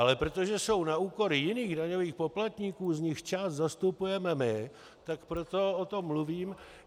Ale protože jsou na úkor jiných daňových poplatníků, z nichž část zastupujeme my, tak proto o tom mluvím.